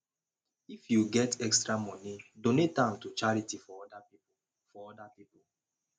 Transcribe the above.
if yu get extra moni donate am to charity for oda pipo for oda pipo